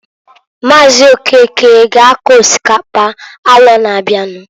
Maazị Okeke ga ako osikapa arọ na-abịanụ.